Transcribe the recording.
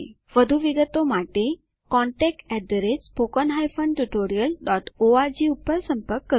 વધુ વિગતો માટે contactspoken tutorialorg પર સંપર્ક કરો